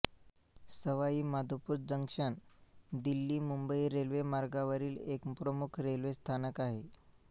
Sawai Madhopur junction दिल्लीमुंबई रेल्वेमार्गावरील एक प्रमुख railway स्थानक आहे